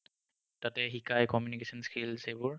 তাতে শিকাই communication skills সেইবোৰ